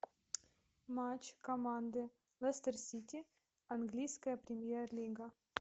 матч команды лестер сити английская премьер лига